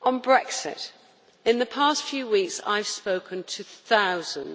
On Brexit in the past few weeks, I have spoken to thousands